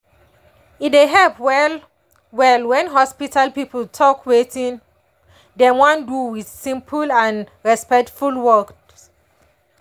e dey help well-well when hospital people talk wetin dem wan do with simple and respectful words.